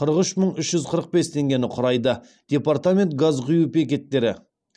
қырық үш мың үш жүз қырық бес теңгені құрайды департамент газ құю бекеттері